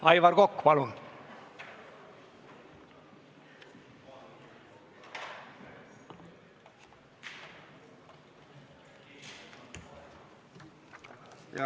Aivar Kokk, palun!